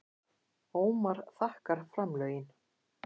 Ómar þakkar framlögin